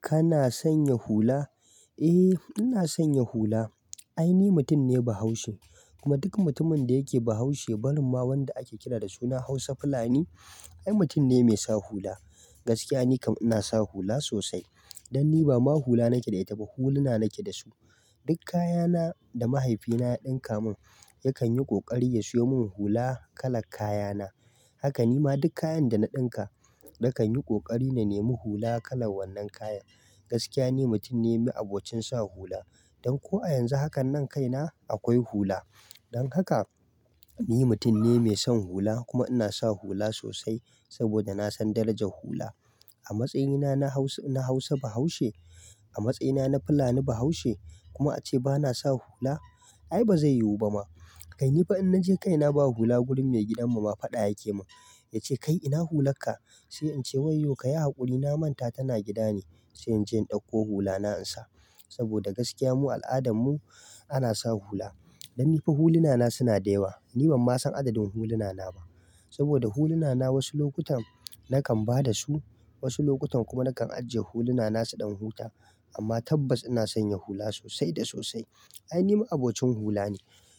Kana sanya hula? Eh, ina sanya hula. Ai ni mutum ne Bahaushe kuma duk mutumin da yake Bahaushe, barin ma wanda ake kira da suna Hausa fulani, ai mutum ne mai sa hula. Gaskiya ni kam ina sa hula sosai. Dan ni ba ma hula nake da ita ba, huluna nake da su. Duk kayana da mahaifina ya ɗinkamin ya kanyi ƙoƙari ya siyomin hula kalar kayana. Haka ni ma duk kayan da na ɗinka, na kan yi ƙoƙari na nemi hula kalar wannan kaya. Gaskiya ni mutum ne ma abocin sa hula. Dan ko a yanzu hakannan kaina akwai hula don haka, ni mutum ne mai son hula kuma ina sa hula sosai saboda na san darajar hula. A matsayina na Hausa Bahaushe, a matsayina na Fulani Bahaushe kuma ace ba na sa hula, ai ba zai yiwu ba ma. Kai ni fa in naji kaina ba hula gurin maigidan mu ma faɗa yake mun. Yace "Kai ina hular ka?" Sai in ce "wayyo ka yi haƙuri na manta tana gida ne." Sai in je in ɗauko hulana in sa. Saboda gaskiya mu al'adan mu ana sa hula. Dan ni fa huluna na suna da yawa. Ni ban ma san adadin huluna na ba saboda huluna na wasu lokutan nakan ba da su, wasu lokutan kuma nakan ajiye huluna na su ɗan huta. Amma tabbas ina sanya hula sosai da sosai. Ai ni ma abocin hula ne.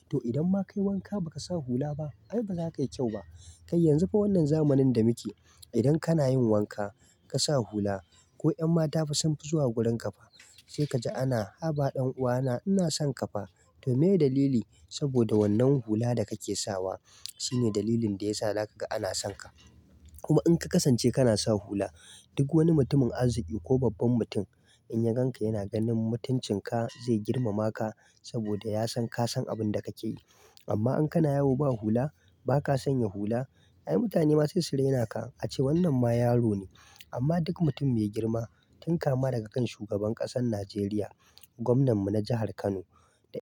To idan ma ka yi wanka ba ka sa hula ba, ai ba za ka yi kyau ba. Kai yanzu fa wannan zamanin da muke, idan kana yin wanka ka sa hula ko 'yan mata fa sunfi zuwa gurin ka fa. Sai ka ji ana "Haba ɗan uwana ina son ka fa." To meye dalili? Saboda wannan hula da kake sawa shine dalilin da za kaga ana sonka kuma in ka kasance kana sa hula, duk wani mutumin arziƙi ko babban mutum in ya gan ka yana ganin mutuncin ka zai girmama ka saboda ya san ka san abin da kake yi. Amma in kana yawo ba hula, ba ka sanya hula, ai mutane ma sesu rainaka ace wannan ma yaro ne. Amma duk mutum mai girma tun kama daga kan shugaban ƙasar Najeriya, gwamnan mu na jahar Kano da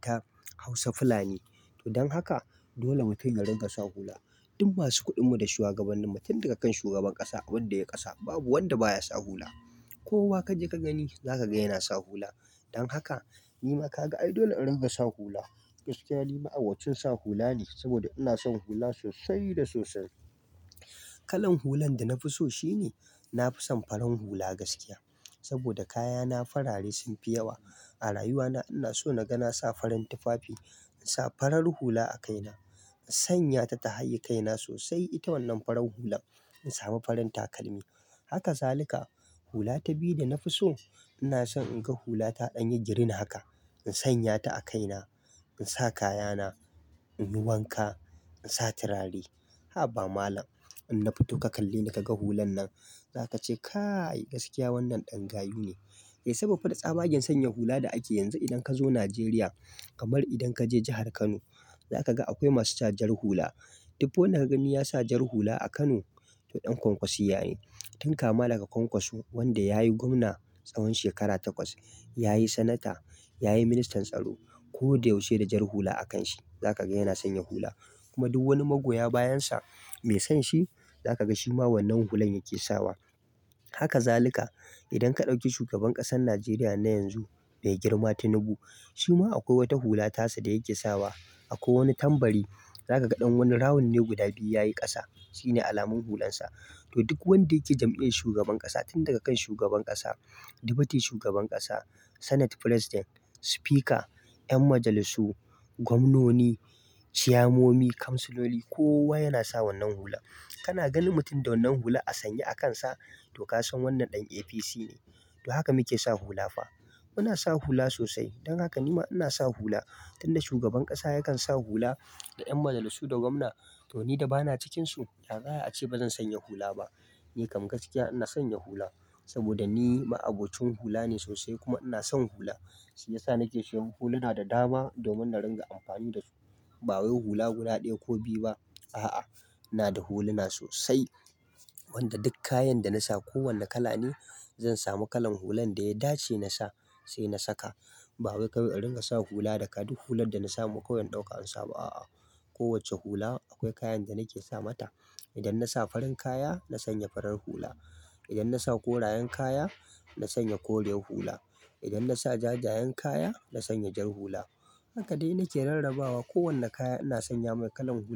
ta Hausa fulani dan haka dole mutun ya riƙa sa hula. Duk masu kuɗin mu da shugabannin mu, tun daga kan shugaban ƙasa abin da yayi ƙasa babu wanda ba ya sa hula. Kowa ka je ka gani za ka ga yana sa hula. Don haka, ni ma ka ga ai dole in ringa sa hula. Gaskiya ni ma abocin sa hula ne saboda ina son hula sosai da sosai. Kalan hulan da na fi so shine na fi son farin hula gaskiya saboda kayana farare sun fi yawa. A rayuwa na ina so na ga na sa farin tufafi, in sa farar hula a kaina, in sanya ta ta haye kaina sosai ita wannan farar hulan. In samu farin takalmi. Haka zalika. Hula ta biyu da na fi so, ina son in ga hula ta ɗan yi green haka, in sanya ta a kaina, in sa kayana, in yi wanka, in sa turare. Haba malam inna fito ka kalleni kaga hulan nan zaka ce kai gaskiya wannan dan gayu ne sabo fa da tsabagen sanya hula da akeyi yanzu idan kazo Nigeria kamar idan kaje jihar Kano zaka ga akwai masu sa jar hula. Duk wanda ka gani ya sa jar hula a Kano, to ɗan kwankwasiya ne. Tun kama daga kwankwaso wanda ya yi gwamna tsawon shekara takwas, ya yi sanata, ya yi ministan tsaro. Ko da yaushe da jar hula a kan shi, za ka ga yana sanya hula. Kuma duk wani magoya bayansa mai san shi, za ka ga shi ma wannan hulan yake sawa. Haka zalika. Idan ka ɗauki shugaban ƙasan Najeriya na yanzu mai girma Tinubu, shi ma akwai wata hula tasa da yake sawa. Akwai wani tambari za ka ga ɗan wani rawannai guda biyu yayi ƙasa, shine alamun hulansa. To duk wanda yake jam'iyar shugaban ƙasa tun daga kan shugaban ƙasa, deputy shugaban ƙasa, senate president, speaker, 'yan majalisu, gwamnoni, ciyammomi, kamsuloli kowa yana sa wannan hula. Kana ganin mutum da wannan hula a sanye a kansa, to ka san wannan ɗan APC ne. To haka muke sa hula fa. Muna sa hula sosai. Don haka ni ma ina sa hula tun da shugaban ƙasa yakan sa hula da 'yan majalisu da gwamna to ni da ba na cikinsu, ya za'ayi ace ba zan sanya hula ba? Ni kam gaskiya ina sanya hula saboda ni ma abocin hula ne sosai kuma ina son hula. Shiyasa na ke siyan huluna da dama domin na ringa amfani da su. Ba wai hula guda ɗaya ko biyu ba, a'a. Ina da huluna sosai wanda duk kayan da na sa ko wane kala ne, zan samu kalan hulan da ya dace na sa sai na saka. Ba wai ka ringa sa hula da ka duk hular da na samu kawai in ɗauka in sa ba a'a. Kowace hula akwai kayan da nake sa mata idan na sa farin kaya, na sanya farar hula. Idan na sa korayen kaya, na sanya kore hula. Idan na sa jajayen kaya, na sanya jar hula. Haka dai na ke rarrabawa kowane kaya ina sanya mai kalan hula.